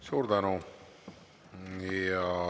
Suur tänu!